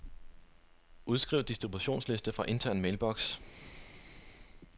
Udskriv distributionsliste fra intern mailbox.